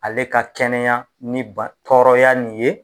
Ale ka kɛnɛya ni ba tɔrɔya nin ye